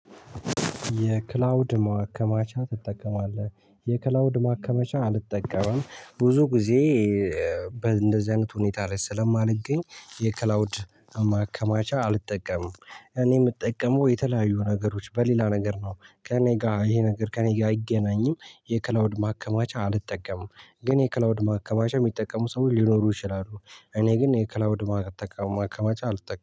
የክላውድ ማከማቻ ትጠቀማለህ? የክላውድ ማከመቻ አልጠቀምም ብዙ ጊዜ። እንደዚህ አይነት ሁኔታ ላይ ስለማንገኝ የክላውድ ማከማቻ አልጠቀምም። እኔ የምጠቀመው የተለያዩ ነገሮች በሌላ ነገር ነው። ከእኔ ጋር ይሄ ነገር ከእኔ ጋር አይገናኝም። የክላውድ ማከማቻ አልጠቀምም። ግን የክላውድ ማከማቻ የሚጠቀሙ ሰው ሊኖሩ ይችላሉ። እኔ ግን የክላውድ ማከማቻ አልጠቀምም